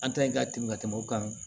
An ta in ka tɛmɛ ka tɛmɛ u kan